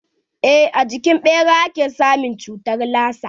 Eh a jikin ɓera ake samun cutar lasa.